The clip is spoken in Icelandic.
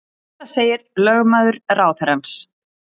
Þetta segir lögmaður ráðherrans